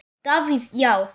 Davíð Já.